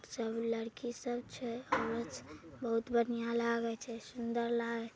सब लड़की सब छै बहुत बढ़िया लागे छै सुंदर लागे छै।